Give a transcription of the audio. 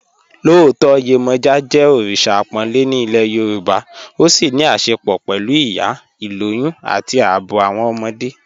Lọọtọ Yemoja jẹ́ oríṣa àpònlẹ̀ ní ilẹ̀ Yorùbá, ó sì ní àṣẹ̀pọ̀ pẹ̀lú ìyá, ilòyùn, àti ààbọ̀ awọn ọmọdé.